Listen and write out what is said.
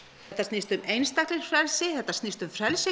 þetta snýst um einstaklingsfrelsi þetta snýst um frelsi